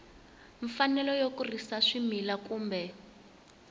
mfanelo yo kurisa swimila kumbe